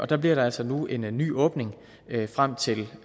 der bliver der altså nu en ny åbning frem til